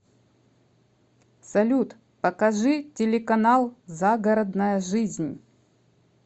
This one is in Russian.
салют покажи телеканал загородная жизнь